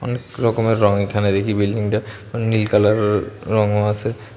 অনেক রকমের রং এখানে দেখি বিল্ডিংটা নীল কালারের র-রঙও আছে।